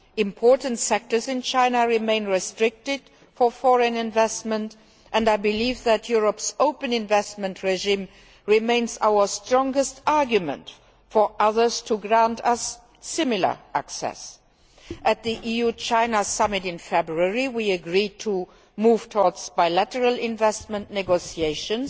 Important sectors in China remain restricted for foreign investment and I believe that Europe's open investment regime remains our strongest argument for others to grant us similar access. At the EU China summit in February we agreed to move towards bilateral investment negotiations.